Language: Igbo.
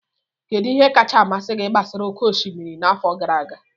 Kedu ihe kacha amasị gị gbasara oke osimiri n'afọ gara aga?